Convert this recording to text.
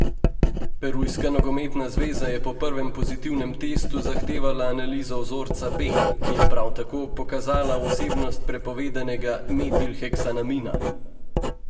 Perujska nogometna zveza je po prvem pozitivnem testu zahtevala analizo vzorca B, ki je prav tako pokazala vsebnost prepovedanega metilheksanamina.